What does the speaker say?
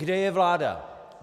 Kde je vláda?